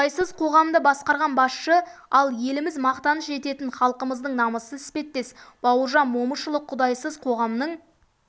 құдайсыз қоғамды басқарған басшы ал еліміз мақтаныш ететін халқымыздың намысы іспеттес бауыржан момышұлы құдайсыз қоғамның